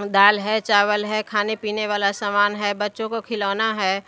अम्म दाल हैं चावल हैं खाने पीने वाला सामान हैं बच्चों को खिलौना हैं